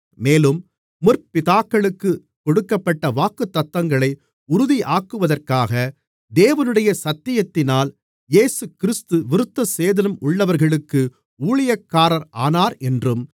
மேலும் முற்பிதாக்களுக்குக் கொடுக்கப்பட்ட வாக்குத்தத்தங்களை உறுதியாக்குவதற்காக தேவனுடைய சத்தியத்தினால் இயேசுகிறிஸ்து விருத்தசேதனம் உள்ளவர்களுக்கு ஊழியக்காரர் ஆனார் என்றும்